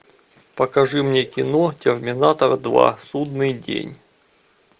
покажи мне кино терминатор два судный день